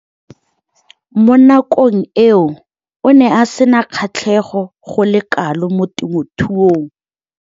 Mo nakong eo o ne a sena kgatlhego go le kalo mo temothuong.